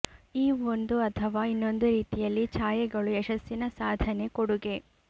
ಈ ಒಂದು ಅಥವಾ ಇನ್ನೊಂದು ರೀತಿಯಲ್ಲಿ ಛಾಯೆಗಳು ಯಶಸ್ಸಿನ ಸಾಧನೆ ಕೊಡುಗೆ